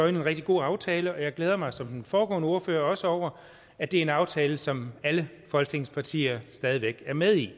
en rigtig god aftale og jeg glæder mig som den foregående ordfører også over at det er en aftale som alle folketingets partier stadig væk er med i